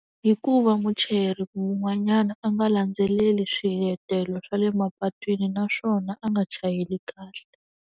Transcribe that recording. Hi ku va muchayeri wun'wanyana a nga landzeleli swiletelo swa le mapatwini naswona a nga chayeli kahle.